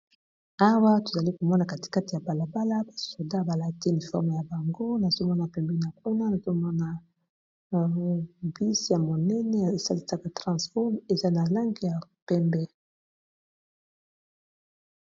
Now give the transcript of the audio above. Awa tozali komona katikate ya balabala ba soda balati uniforme na bango, nazomona pembeni kuna bus ya monene esalisaka transport, eza na langi ya pembe.